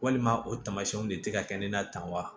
Walima o tamasiyɛnw de tɛ ka kɛ ne na tan wa